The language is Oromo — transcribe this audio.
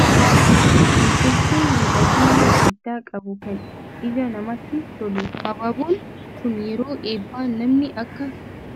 Habaaboo nam-tolchee miidhagina addaa qabu, kan ija namaatti tolu. Habaaboon kun yeroo eebbaa namni akka